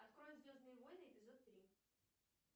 открой звездные войны эпизод три